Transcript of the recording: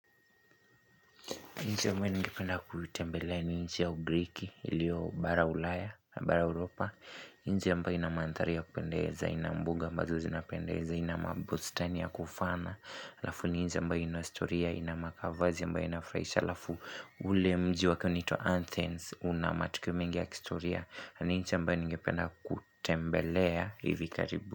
Nchi ambayo ningependa kutembelea ni nchi ya ugriki ilio bara ulaya, bara uropa nchi ambayo ina maandhari ya kupendeza, ina mbuga ambazo zinapendeza, ina mabustani ya kufaana Alafu ni nchi ambayo ina istoria, ina makavazi ambayo inafuraisha Alafu ule mji wake unaitwa Anthens, una matukio mingi ya kihistoria na ni nchi ambayo ningependa kutembelea hivi karibu.